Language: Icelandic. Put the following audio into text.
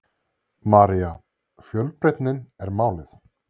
María: Fjölbreytnin er málið?